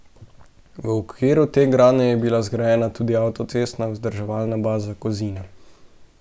V okviru te gradnje je bila zgrajena tudi avtocestna vzdrževalna baza Kozina.